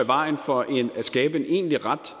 vejen for at skabe en egentlig ret